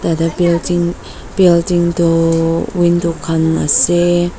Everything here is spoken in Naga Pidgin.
yate building building tuu window khan ase.